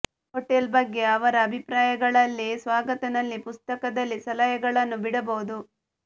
hotel ಬಗ್ಗೆ ಅವರ ಅಭಿಪ್ರಾಯಗಳಲ್ಲಿ ಸ್ವಾಗತ ನಲ್ಲಿ ಪುಸ್ತಕದಲ್ಲಿ ಸಲಹೆಗಳನ್ನು ಬಿಡಬಹುದು